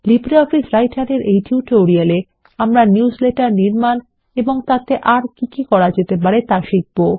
LibreOffice Writer এই tutorial এ আমরা নিউজলেটার নির্মাণ এবং তাতে আর কি কি করা যেতে পারে তা শিখবো